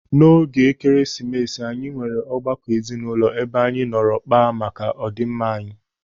N'oge Ekeresimesi anyị nwere ọgbakọ ezinụlọ ebe anyị nọrọ kpaa maka ọdịmma anyị.